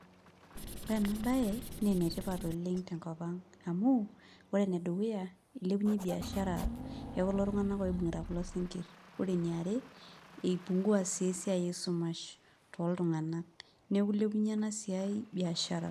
ore ena bae naa ene tipa oleng tenkop ang amu, ore ene dukuya ilepunye, biashara ekulo tunganak oibung'ita kulo sinkir, ore eniare, ei pungua sii esiai esumash tooltunganak neku ilepunye ena siai biashara.